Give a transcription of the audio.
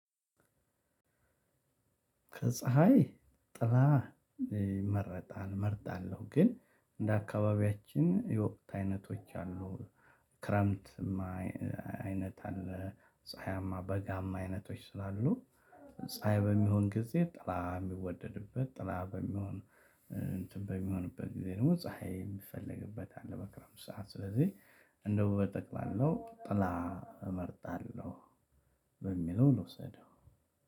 ከፀሀይ ጥላ ይመረጣል። እመርጣለሁ ግን እንደ አካባቢያችን የወቅት አይነቶች አሉ። ክረምትማ አይነት አለ ፀሀያማ በጋማ አይነቶች ስላሉ። ፀሀይ በሚሆን ጊዜ ጥላ የሚወደድበት ጥላ በሚሆን እንትን በሚሆንበት ጊዜ ደግሞ ፀሀይ የምፈልግበት አለ። በክረምት ሰዓት ስለዚህ እንዲያው በጠቅላለው ጥላ እመርጣለሁ። በሚለው ልውሰደው